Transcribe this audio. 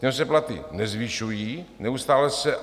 Těm se platy nezvyšují, neustále se...